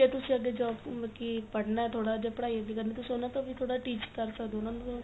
ਜੇ ਤੁਸੀਂ ਅੱਗੇ job ਕੀ ਪੜਨਾ ਥੋੜਾ ਜਾ ਪੜਾਈ ਅੱਗੇ ਕਰਨੀ ਏ ਤੁਸੀਂ ਉਹਨਾ ਤੋਂ ਵੀ ਥੋੜਾ teach ਕ਼ਰ ਸਕਦੇ ਓ ਉਹਨਾ ਣ ਉਨ ਵੀ